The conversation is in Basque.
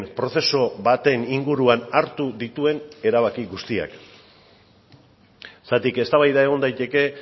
prozesu baten inguruan hartu dituen erabaki guztiak zergatik eztabaida egon daiteke